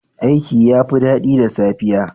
Aiki yafi dadi da safiya.